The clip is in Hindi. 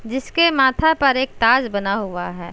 जिस के माथा पर एक ताज बना हुआ है।